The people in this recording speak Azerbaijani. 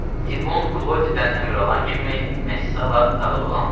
Tibun Klodidən əmr alan kimi Messala dağı dolandı.